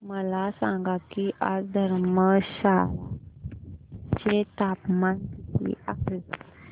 मला सांगा की आज धर्मशाला चे तापमान किती आहे